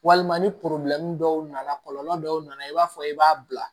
Walima ni dɔw nana kɔlɔlɔ dɔw nana i b'a fɔ i b'a bila